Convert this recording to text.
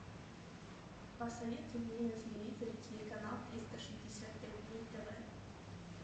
посоветуй мне на телевизоре телеканал триста шестьдесят пять дней тв